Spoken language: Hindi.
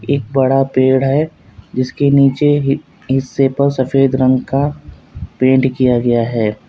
एक बड़ा पेड़ है जिसके नीचे ही हिस्से पर सफेद रंग का पेंट किया गया है।